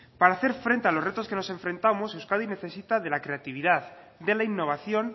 para hacer frente a los retos que nos enfrentamos euskadi necesita de la creatividad de la innovación